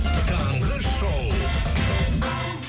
таңғы шоу